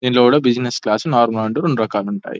దీంట్లో కూడా బిజినెస్ క్లాసులు నార్మల్ అంటే రెండు రకాలు ఉంటాయి --